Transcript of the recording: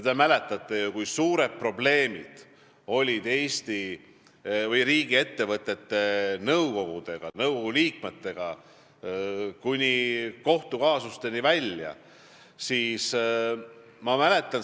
Te mäletate ju, kui suured probleemid olid riigiettevõtete nõukogude liikmetega, kuni kohtukaasusteni välja.